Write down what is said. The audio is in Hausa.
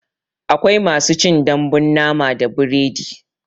Akwai masu cin dambun nama da biredi